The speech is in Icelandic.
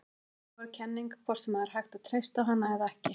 Þetta er áhugaverð kenning, hvort sem það er hægt að treysta á hana eða ekki.